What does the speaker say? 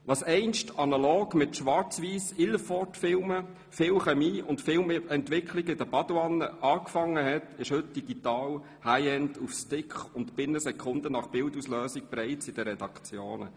Was IlfordSchwarzweissfilmen, viel Chemie und der Entwicklung in der Badewanne begann, ist heute digital, High-End, auf Sticks und binnen Sekunden nach Bildauslösung bereits in den Redaktionen.